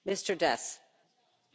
Frau Präsidentin!